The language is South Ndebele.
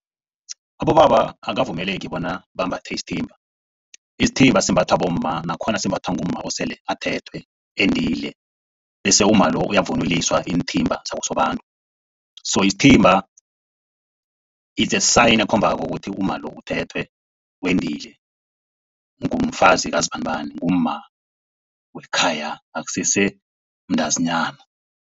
Abobaba abakavumeleki bona bambathe isithimba. Isithimba simbathwa bomma nakhona simbathwa ngumma osele athethwe endile. Bese umma lo uyavunuliswa iinthimba zakosobantu. So isithimba its a sign ekhombako bona umma lo uthethwe, wendile. Ngumfazi kazibanibani ngumma wekhaya akusese mntazinyana.